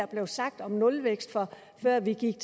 blev sagt om nulvækst før vi gik